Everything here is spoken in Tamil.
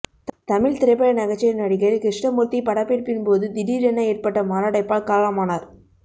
தமிழ் திரைப்பட நகைச்சுவை நடிகர் கிருஷ்ணமூர்த்தி படப்பிடிப்பின் போது திடீரென ஏற்பட்ட மாரடைப்பால் காலமானார்